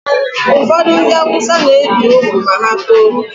Ụfọdụ ndị awụsa na-ebi ugwu ma ha too